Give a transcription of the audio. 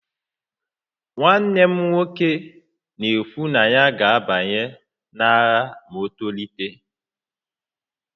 Nwanne m nwoke na-ekwu na ya ga-abanye n'agha ma o tolite